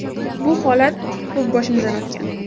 Bu holat ko‘p boshimdan o‘tgan.